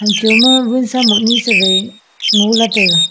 Hamchho ma wunsa mohnusa wai ngola taiga.